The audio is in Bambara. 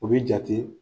O bɛ jate